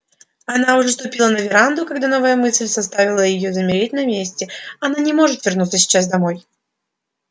она уже ступила на веранду когда новая мысль заставила её замереть на месте она не может вернуться сейчас домой